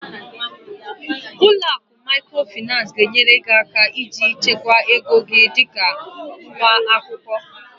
Ụlọ akụ Microfinance ga-enyere gị aka ịchekwa ego dị ka nwa akwụkwọ